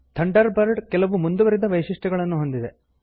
thunder bird ಕೆಲವು ಮುಂದುವರಿದ ವೈಶಿಷ್ಟ್ಯಗಳನ್ನು ಹೊಂದಿದೆ